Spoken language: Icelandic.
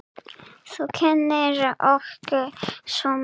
Þú kenndir okkur svo margt.